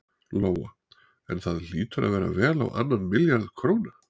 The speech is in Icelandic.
Lóa: En það hlýtur að vera vel á annan milljarð króna?